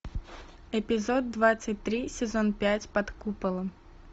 эпизод двадцать три сезон пять под куполом